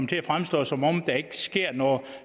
til at fremstå som om der ikke sker noget